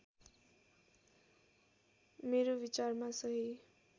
मेरो विचारमा सही